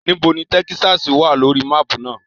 Nibo ni Tẹkisasi wa lori maapu naa?